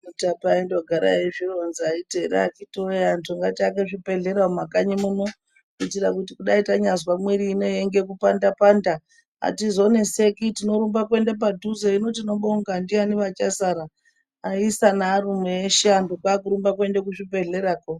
Mutape aindongogara eizvironza eiti ere akiti woye antu ngatiake zvibhehlera mumakanyi muno kuitira kuti kudai tanyazwa mwiri unei yeingekupanda panda atizoneseki tinorumba kuenda padhuze. Hino tinobonga ndiani vachasara aisa nearume eshe antu kwakurumba kuende kuzvibhehlerako.